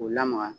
K'u lamaga